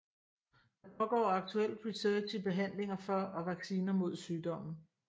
Der pågår aktuelt research i behandlinger for og vacciner mod sygdommen